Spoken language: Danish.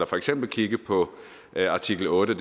for eksempel at kigge på artikel otte